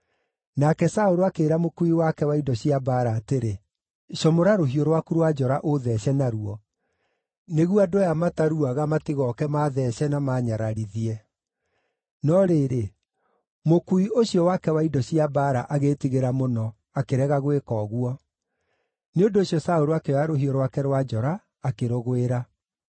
Nake Saũlũ akĩĩra mũkuui wake wa indo cia mbaara atĩrĩ, “Comora rũhiũ rwaku rwa njora ũũthece naruo, nĩguo andũ aya mataruaga matigooke maatheece na maanyararithie.” No rĩrĩ, mũkuui ũcio wake wa indo cia mbaara agĩĩtigĩra mũno, akĩrega gwĩka ũguo; nĩ ũndũ ũcio Saũlũ akĩoya rũhiũ rwake rwa njora, akĩrũgwĩra.